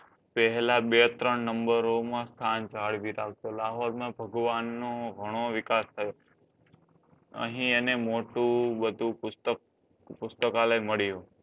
પેહલા બે ત્રણ નંબરોમાં સ્થાન જાણવી રાખતો લાહોરમાં ભગવાનનું ઘણો વિકાસ થયો. અહીં એને મોટું બધું પુસ્તક પુસ્તકાલય મળ્યું